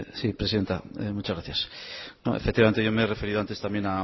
sí presidenta muchas gracias no efectivamente yo me he referido antes también